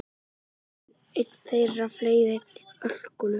Einn þeirra fleygði ölkollu.